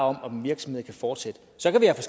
om om en virksomhed kan fortsætte så kan vi have